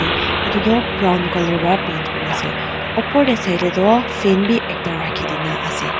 etu toh brown colour para paint kori kina ase opor te saile tu fan bhi ekta rakhi kina ase.